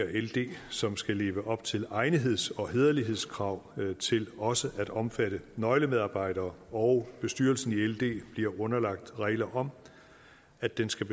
ld som skal leve op til egnetheds og hæderlighedskrav til også at omfatte nøglemedarbejdere og bestyrelsen i ld bliver underlagt regler om at den skal